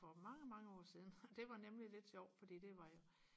for mange mange år siden det var nemlig lidt sjovt fordi det var